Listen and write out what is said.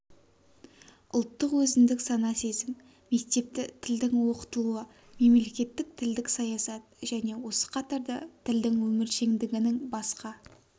ұлттық өзіндік сана-сезім мектепті тілдің оқытылуы мемлекеттік тілдік саясат және осы қатарда тілдің өміршеңдігінің басқа